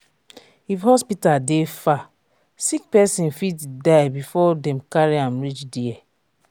if hospital dey far sick pesin fit die before dem carry am reach there